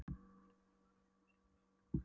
Hann gengur þá bara tveimur sólarhringum lengur.